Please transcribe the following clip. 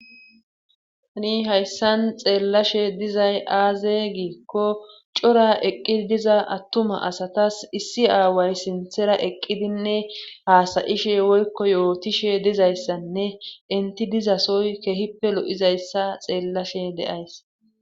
Ani hayssan xeellashe dizay aaze giikko cora eqqii diza attuma asatas issi aaway sinthera eqqidinne haasayishe woykko yootishe dizayssanne inti dizasoy kehippe lo'izayssa xeellashe deays.